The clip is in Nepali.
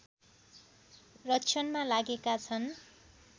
रक्षणमा लागेका छन्